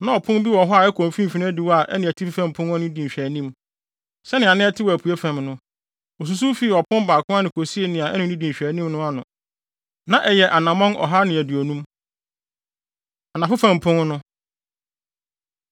Na ɔpon bi wɔ hɔ a ɛkɔ mfimfini adiwo a ɛne atifi fam pon no di nhwɛanim, sɛnea na ɛte wɔ apuei fam no. Osusuw fii ɔpon baako ano kosii nea ɛne no di nhwɛanim no ano; na ɛyɛ anammɔn ɔha ne aduonum. Anafo Fam Pon No